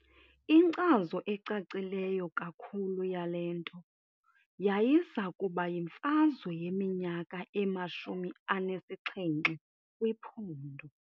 Inkcazo ecacileyo kakhulu yale nto yayiza kuba yimfazwe yeMinyaka emashumi anesixhenxe kwiPhondo.